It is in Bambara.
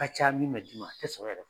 ka ca min mɛ d'i ma a tɛ sɔrɔ yɛrɛ.